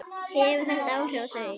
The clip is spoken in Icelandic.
Hefur þetta áhrif á þau?